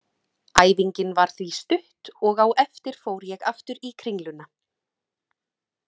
Æfingin var því stutt og á eftir fór ég aftur í Kringluna.